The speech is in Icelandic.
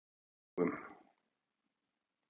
Skógum